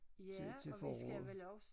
Til til foråret